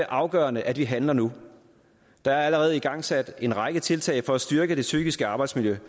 afgørende at vi handler nu der er allerede igangsat en række tiltag for at styrke det psykiske arbejdsmiljø